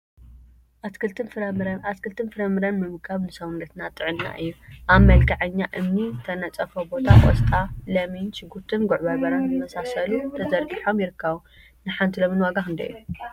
አትክልቲን ፈራፍረን አትክልቲን ፈራፍረን ምምጋብ ንስውነትና ጥዕና እዩ፡፡ አብ መልክዐኛ እምኒ ዝተነፀፎ ቦታ ቆስጣ፣ ለሚን፣ ሽጉርቲን ጉዕ በርበረን ዝመሳሰሉ ተዘርጊሖም ይርከቡ፡፡ ንሓንቲ ሎሚን ዋጋ ክንደይ እዩ?